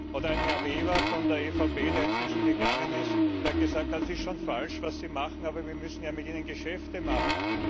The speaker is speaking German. oder Herr Weber von der EVP, der inzwischen gegangen ist, der gesagt hat, das ist schon falsch, was sie machen, aber wir müssen ja mit ihnen Geschäfte machen.